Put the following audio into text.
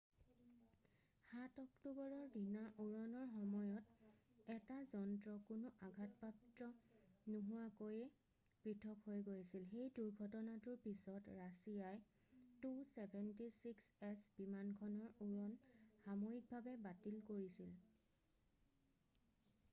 7 অক্টোবৰৰ দিনা উৰণৰ সময়ত এটা যন্ত্ৰ কোনো আঘাতপ্ৰাপ্ত নোহোৱাকৈ পৃথক হৈ গৈছিল সেই দুৰ্ঘটনাটোৰ পিছত ৰাছিয়াই il-76s বিমানখনৰ উৰণ সাময়িকভাৱে বাতিল কৰিছিল